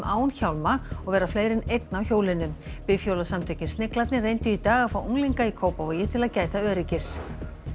án hjálma og vera fleiri en einn á hjólinu Sniglarnir reyndu í dag að fá unglinga í Kópavogi til að gæta öryggis